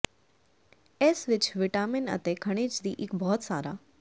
ਇਸ ਵਿਚ ਵਿਟਾਮਿਨ ਅਤੇ ਖਣਿਜ ਦੀ ਇੱਕ ਬਹੁਤ ਸਾਰਾ